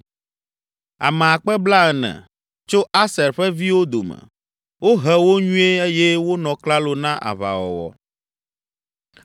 Ame akpe blaene (40,000) tso Aser ƒe viwo dome. Wohe wo nyuie eye wonɔ klalo na aʋawɔwɔ.